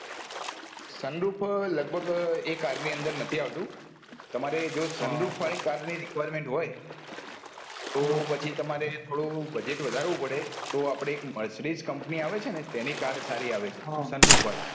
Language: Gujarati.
sun roof લગભગ એ car ની અંદર નથી આવતું તમારે જો sun roof વાળી car ની requirement હોય તો પછી તમારે થોડું budget તો અપને mercedes company આવે છે ને તેની car સારી આવે છે sun roof વાળી